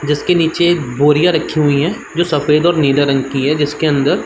जिसके नीचे बोरियाँ रखी हुई हैं जो सफ़ेद और नीले रंग है। जिसके अंदर --